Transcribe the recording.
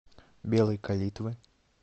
белой калитвы